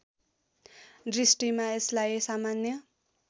दृष्टिमा यसलाई सामान्य